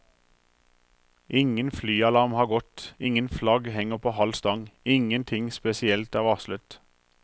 Ingen flyalarm har gått, ingen flagg henger på halv stang, ingenting spesielt er varslet.